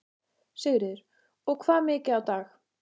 Sigríður: Og hvað mikið á dag?